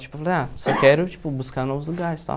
Tipo, falei, ah, só quero, tipo, buscar novos lugares e tal.